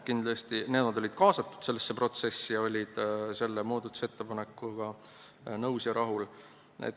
Koda oli kaasatud sellesse protsessi ja oli selle muudatusettepanekuga nõus ja rahul.